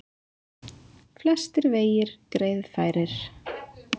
Flestir vegir greiðfærir